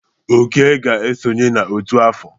Oke ga-esonye n'ọtú afọ.